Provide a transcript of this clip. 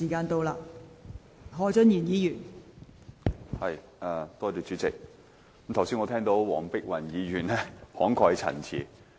代理主席，我剛才聽到黃碧雲議員慷慨陳詞。